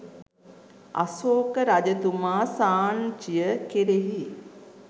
අශෝක රජතුමා සාංචිය කෙරෙහි